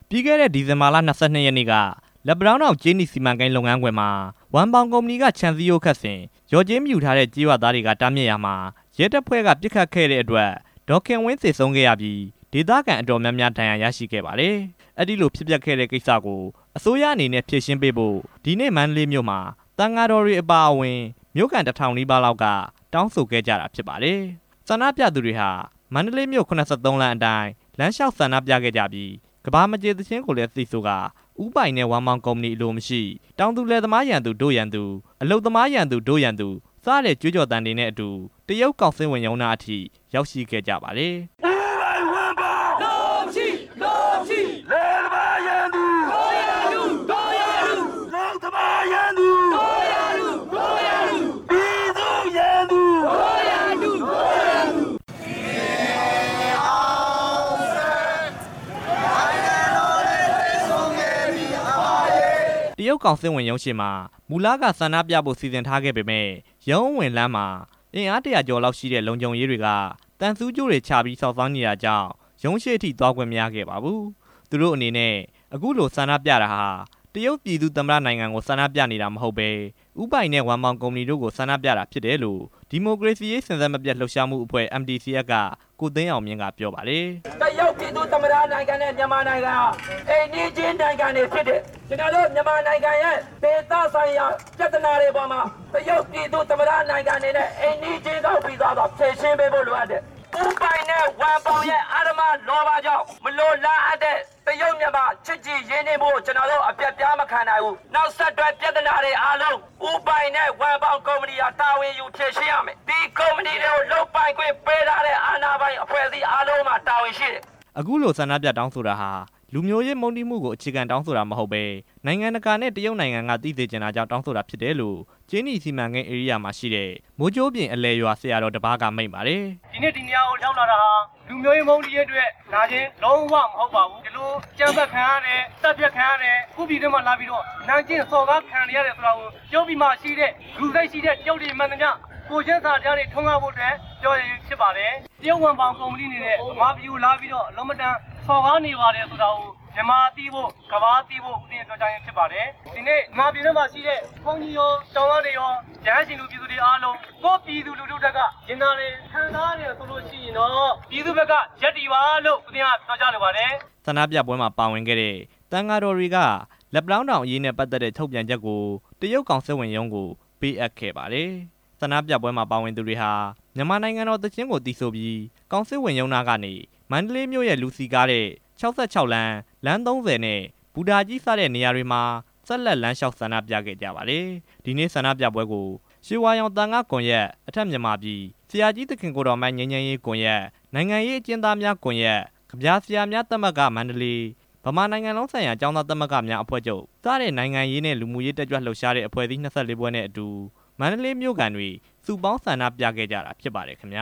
ပြီးခဲ့တဲ့ဒီဇင်ဘာလ ၂၂ ရက်နေ့က လက်ပံတောင်းတောင် ကြေးနီစီမံကိန်းလုပ်ငန်းခွင်မှာ ဝမ်ပေါင်ကုမ္ပဏီက ခြံစည်းရိုးခတ်စဉ် လျော်ကြေးမယူထားတဲ့ ကျေးရွာသားတွေက တားမြစ်ရာမှာ ရဲတပ်ဖွဲ့ကပစ်ခတ်ခဲ့တဲ့ အတွက် ဒေါ်ခင်ဝင်းသေဆုံးခဲရပြီး ဒေသခံအတော်များများ ဒဏ်ရာရရှိခဲ့ပါတယ်၊ အဲ့ဒီလိုဖြစ်ပျက်ခဲ့တဲ့ကိစ္စကို အစိုးရအနေနဲ့ဖြေရှင်းပေးဖို့ ဒီနေ့မန္တလေးမြို့မှာ သံဃာတော်တွေအပါအဝင် မြို့ခံ ၁ဝဝဝ နီးပါးလောက် က တောင်းဆိုခဲ့ကြတာဖြစ်ပါတယ်။ ဆန္ဒပြသူတွေဟာ မန္တလေးမြို့ ၇၃ လမ်းအတိုင်း လမ်းလျှောက်ဆန္ဒပြခဲ့ကြပြီး ကမ္ဘာမကြေ သီချင်းကိုလည်းသီဆို ကာ ဦးပိုင်နဲ့ ဝမ်ပေါင်ကုမ္ပဏီကိုအလိုမရှိ၊ တောင်သူလယ်သမားရန်သူ ဒို့ရန်သူ၊ အလုပ်သမားရန်သူ ဒို့ရန်သူ စတဲ့ကြွေးကြော်သံတွေနဲ့အတူ တရုတ်ကောင်စစ်ဝင်ရုံးနားအထိ ရောက်ရှိခဲ့ကြပါတယ်။ တရုတ်ကောင်စစ်ဝင်ရုံးရှေ့မှာ မူလကဆန္ဒပြဖို့စီစဉ်ထားခဲ့ပေမယ့် ရုံးအဝင်လမ်မှာအင်အား ၁ဝဝ ကျော်လောက် ရှိတဲ့ လုံခြုံရေးတွေကသံဆူးကြိုးတွေချပြီး စောင့်ဆိုင်းနေတာကြောင့် ရုံးရှေ့အထိ သွားခွင့်မရပါဘူး။ သူတို့အနေနဲ့ အခုလိုဆန္ဒပြတာဟာ တရုတ်ပြည်သူ့သမ္မတနိုင်ငံကို ဆန္ဒပြနေတာမဟုတ်ပဲ ဦးပိုင်နဲ့ ဝမ်ပေါင်ကုမ္ပဏီတို့ကို ဆန္ဒပြတာဖြစ်တယ်လို့ ဒီမိုကရေစီအရေး စဉ်ဆက်မပြတ်လှုပ်ရှားမှုအဖွဲ့ MDCF က ကိုသိန်းအောင်မြင့်က ပြော ပါတယ်။ ကိုသိန်းအောင်မြင့်။ ။တရုတ်ပြည်သူ့သမ္မတနိုင်ငံနဲ့ မြန်မာနိုင်ငံဟာ အိမ်နီးချင်း နိုင်ငံတွေဖြစ်တယ်၊ ကျနော်တို့မြန်မာနိုင်ငံရဲ့ ဒေသဆိုင်ရာပြဿနာတွေပေါ်မှာ တရုတ်ပြည်သူ့သမ္မတနိုင်ငံအနေနဲ့ အိမ်နီးချင်းကောင်း ပီသစွာဖြေရှင်းပေးဖို့လိုအပ်တယ်၊ ဦးပိုင်နဲ့ ဝမ်ပေါင်ရဲ့ အဓမ္မလောဘကြောင့် မလိုလားအပ်တဲ့တရုတ်မြန်မာ ချစ်ကြည်ရင်းနှီးမှုကို ကျနော်တို့ အပျက်ပြားမခံနိုင်ဘူး၊ နောက်ဆက်တွဲပြဿနာတွေအားလုံး ဦးပိုင်နဲ့ ဝမ်ပေါင် ကုမ္ပဏီဟာ တာဝန်အားလုံးဝင်ယူဖြေရှင်းရမယ်၊ ဒီကုမ္ပဏီတွေကို လုပ်ပိုင်ခွင့်ပေးထားတဲ့ အာဏာပိုင်အဖွဲ့အစည်း အားလုံးမှာ တာဝန်ရှိတယ်။ အခုလိုဆန္ဒပြတောင်းဆိုတာဟာ လူမျိုးရေးမုန်းတီးမှုကို အခြေခံတောင်းဆိုတာမဟုတ်ပဲ နိုင်ငံတကာနဲ့ တရုတ်နိုင်ငံက သိစေချင်တာကြောင့်တောင်းဆိုတာဖြစ်တယ်လို့ ကြေးနီစီမံကိန်းဧရိယာမှာရှိတဲ့ မိုးကြိုးပြင်အလယ်ရွာ ဆရာတော်တစ်ပါးက မိန့်ပါတယ်။ ဆရာတော်။ ။ဦးဇင်းတို့ ဒီနေရာကိုရောက်လာတာဟာ လူမျိုးရေးမုန်းတီးရေးကြောင့် ရောက်လာတာ မဟုတ်ပါဘူး၊ ဒီလိုအကြမ်းဖက်ခံရတယ်၊ သတ်ဖြတ်ခံရတယ်၊ ကိုယ့်ပြည်ထဲမှာလာပြီးတော့ အနိုင်ကျင့်စော်ကား ခံနေရတယ်ဆိုတာကို တရုတပြည်မှာရှိတဲ့ လူစိတ်ရှိတဲ့ တရုတ်တွေမှန်သမျှ ကိုယ်ချင်းစာတရားတွေထွန်းကားဖို့ အတွက် ဖြစ်ပါတယ်၊ တရုတ်ဝမ်ပေါင်ကုမ္ပဏီကြီးအနေနဲ့ မြန်မာပြည်ကိုလာပြီးတော့ အန်မတန်စော်ကားနေ ပါတယ်ဆိုတာကို မြန်မာကသိဖို့ ကမ္ဘာကသိဖို့ ပြောကြားရင်းဖြစ်ပါတယ်၊ ဒီနေ့မြန်မာပြည်တွင်းမှာရှိတဲ့ ဘုန်းကြီးရော ကျောင်းသာတွေရော ရဟန်းရှင်လူ ပြည်သူတွေအားလုံး ကိုယ့်ပြည်သူလူထုဘက်က ရင်နာတယ် ခံစားနေတယ်ဆိုလို့ရှိရင်တော့ ပြည်သူ့ဘက်ကရပ်တည်ပါလို့ ဦးဇင်းကပြောကြားလိုပါတယ်။ ဆန္ဒပြပွဲမှာပါဝင်ခဲ့တဲ့ သံဃာတော်တွေက လက်ပံတောင်းတောင်အရေးနဲ့ပတ်သက်တဲ့ ထုတ်ပြန်ချက်ကို တရုတ်ကောင်စစ်ဝန်ရုံးကို ပေးအပ်ခဲ့ပါတယ်၊ ဆန္ဒပြပွဲမှာပါဝင်သူတွေဟာ မြန်မာနိုင်ငံတော်သီချင်းကို သီဆိုပြီး ကောင်စစ်ဝန်ရုံးနားကနေ မန္တလေးမြို့ရဲ့လူစည်ကားတဲ့ ၆၆ လမ်း၊ လမ်း ၃ဝ နဲ့ ဘူတာကြီး စတဲ့နေရာတွေမှာ ဆက်လက်လမ်းလျှောက်ဆန္ဒပြခဲ့ကြပါတယ်။ ဒီနေ့ဆန္ဒပြပွဲကို ရွှေဝါရောင်သံဃာ့ကွန်ရက်၊ အထက်မြန်မာပြည် ဆရာကြီးသခင်ကိုယ်တော်မှိုင်း ငြိမ်းချမ်းရေး ကွန်ရက်၊ နိုင်ငံရေးအကျဉ်းသားများကွန်ရက်၊ ကဗျာဆရာများသမဂ္ဂ ၊ ဗမာနိုင်ငံလုံးဆိုင်ရာ ကျောင်းသား သမဂ္ဂများအဖွဲ့ချုပ် စတဲ့နိုင်ငံရေးနဲ့ လူမှုရေးတက်ကြွလှုပ်ရှားတဲ့ အဖွဲ့အစည်း ၂၄ ဖွဲ့နဲ့အတူ မန္တလေးမြို့ခံတွေ စုပေါင်းဆန္ဒပြခဲ့ကြတာဖြစ်ပါတယ်ခင်ဗျ